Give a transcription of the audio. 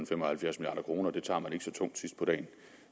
fem og halvfjerds milliard kroner tungt sidst på dagen